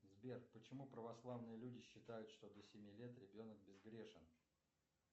сбер почему православные люди считают что до семи лет ребенок безгрешен